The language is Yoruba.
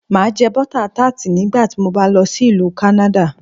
Màá jẹ́ Butter Tart nígbà tí mo bá lọ sí Ìlú kánádà